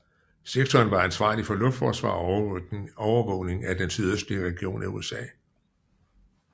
Sektoren var ansvarlig for luftforsvar og overvågning af den sydøstlige region af USA